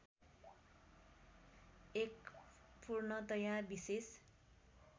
एक पूर्णतया विशेष